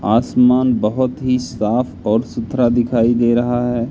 आसमान बहोत ही साफ और सुथरा दिखाई दे रहा है।